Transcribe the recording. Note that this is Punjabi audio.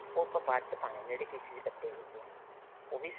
ਉਹ ਆਪਾਂ ਬਾਅਦ ਪਾਣੇ ਹੈ ਜਿਹੜੇ pieces ਕੱਟੇ ਪਏ ਨੇ ਉਹ ਵੀ